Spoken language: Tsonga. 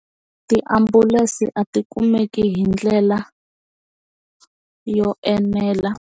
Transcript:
Tiambulense a ti kumeki hi ndlela yo enela.